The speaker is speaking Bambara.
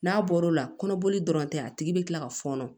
N'a bɔr'o la kɔnɔboli dɔrɔn tɛ a tigi bɛ kila ka fɔɔnɔ